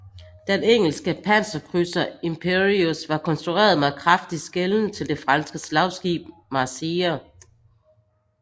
Den engelske panserkrydser Imperieuse var konstrueret med kraftig skelen til det franske slagskib Marceau